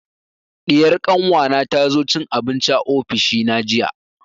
Diyar kanwa na ta zo cin abinci a ofishi na jiya